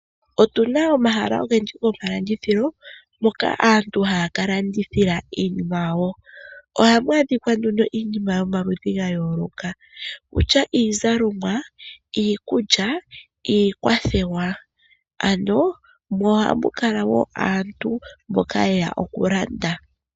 Otuna omahala ogendji gomalandithilo moka aantu haya kalandithila iinima yawo, ohaku adhikwa nduno iinima yomaludhi yayooloka, kutya iizalomwa, iikulya, iikwathewa, ano mo ohakula wo aantu mboka yeya okulanda.